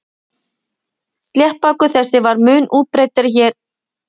Sléttbakur þessi var mun útbreiddari hér áður fyrr.